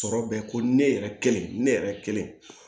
Sɔrɔ bɛ ko ne yɛrɛ kelen ne yɛrɛ kelen